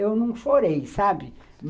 Eu não chorei, sabe?